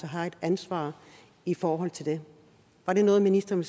har et ansvar i forhold til det var det noget ministeren